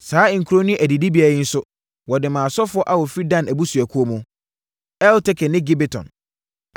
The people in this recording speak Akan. Saa nkuro ne adidibea yi nso, wɔde maa asɔfoɔ a wɔfiri Dan abusuakuo mu: Elteke ne Gibeton,